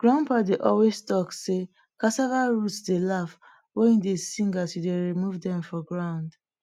grandpa dey always talk sey cassava roots dey laugh when you dey sing as you dey remove dem from ground